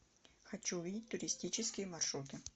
хочу увидеть туристические маршруты